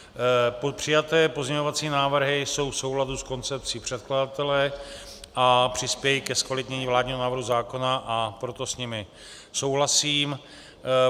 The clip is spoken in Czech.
Přijaté pozměňovací návrhy jsou v souladu s koncepcí předkladatele a přispějí ke zkvalitnění vládního návrhu zákona, a proto s nimi souhlasím.